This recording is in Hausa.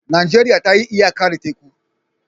Najeriya ta yi iyaka da teku.